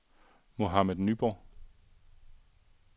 Mohammad Nyborg